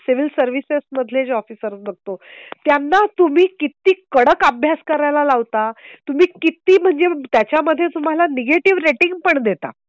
Civil services मधले जे officer बघतो. त्यांना तुम्ही किती कडक अभ्यास करायला लावता. तुम्ही किती म्हणजे त्याच्या मध्ये तुम्हाला निगेटिव्ह रेटिंग पण देता.